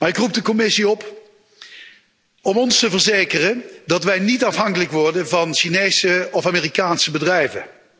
Maar ik roep de Commissie op om ons te verzekeren dat wij niet afhankelijk worden van Chinese of Amerikaanse bedrijven.